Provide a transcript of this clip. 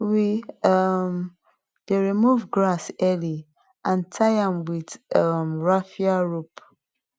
we um dey remove grass early and tie am with um raffia rope